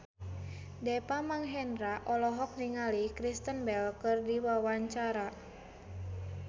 Deva Mahendra olohok ningali Kristen Bell keur diwawancara